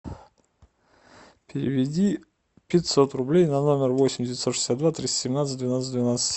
переведи пятьсот рублей на номер восемь девятьсот шестьдесят два триста семнадцать двенадцать двенадцать